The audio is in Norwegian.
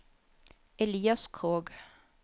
Elias Krogh